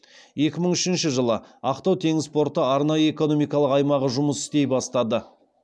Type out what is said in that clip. екі мың үшінші жылы ақтау теңіз порты арнайы экономикалық аймағы жұмыс істей бастады